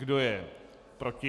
Kdo je proti?